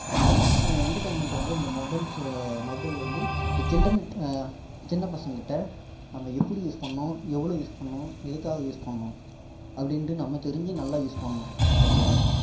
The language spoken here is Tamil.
இந்த entertainment வந்து mobiles ச mobile வந்து இந்த children சின்ன பசங்க கிட்ட நம்ம எப்படி use பண்ணனும் எவ்வளோ use பண்ணனும் எதுகாக use பண்ணனும் அப்படின்னு நம்ம தெரிஞ்சு நல்லா use பண்ணனும் okay வா